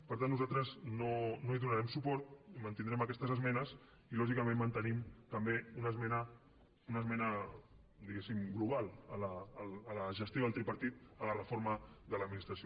per tant nosaltres no hi donarem suport i mantindrem aquestes esmenes i lògicament mantenim també una esmena diguéssim global a la gestió del tripartit a la reforma de l’administració